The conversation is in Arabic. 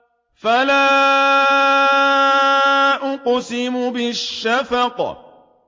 فَلَا أُقْسِمُ بِالشَّفَقِ